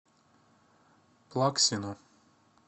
плаксину